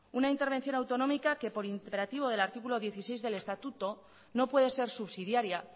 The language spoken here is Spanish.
una intervención autonómica que por imperativo del artículo dieciséis del estatuto no puede ser subsidiaria